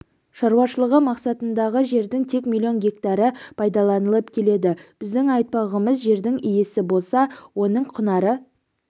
шаруашылығы мақсатындағы жердің тек миллион гектары пайдаланылып келеді біздің айтпағымыз жердің иесі болса оның құнары